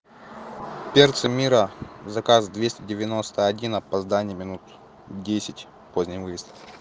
перцы мира заказ двести девяносто один опоздание минут десять поздний выезд